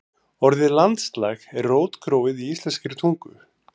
Orðið landslag er rótgróið í íslenskri tungu.